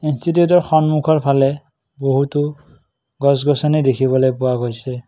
ইনষ্টিটিউটৰ সন্মুখৰ ফালে বহুতো গছ-গছনি দেখিবলৈ পোৱা গৈছে।